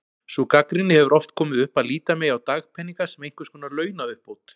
Sú gagnrýni hefur oft komið upp að líta megi á dagpeninga sem einhvers konar launauppbót.